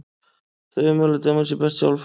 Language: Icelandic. Þau ummæli dæma sig best sjálf.